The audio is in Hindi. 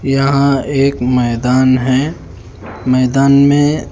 यहां एक मैदान है मैदान में--